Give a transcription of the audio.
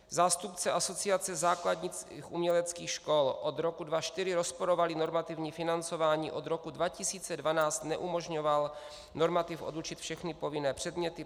Zástupce Asociace základních uměleckých škol: Od roku 2004 rozporovali normativní financování, od roku 2012 neumožňoval normativ odučit všechny povinné předměty.